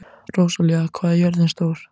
Rósalía, hvað er jörðin stór?